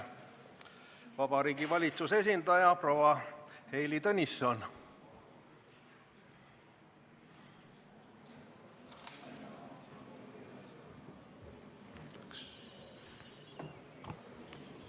Vabariigi Valitsuse esindaja proua Heili Tõnisson, palun!